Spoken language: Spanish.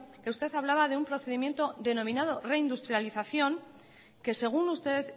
que usted hablaba de un procedimiento denominado reindustrialización que según usted